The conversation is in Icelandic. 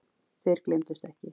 Þeir gleymdust ekki.